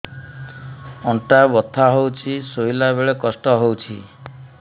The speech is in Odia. ଅଣ୍ଟା ବଥା ହଉଛି ଶୋଇଲା ବେଳେ କଷ୍ଟ ହଉଛି